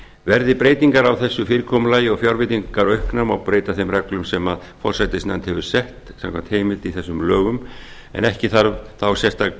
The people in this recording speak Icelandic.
verði breytingar á þessu fyrirkomulagi og fjárveitingar auknar má breyta þeim reglum sem forsætisnefnd hefur sett samkvæmt heimild í þessum lögum en ekki þarf þá sérstaka